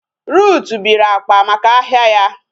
Ruth biri akpa maka ahia ya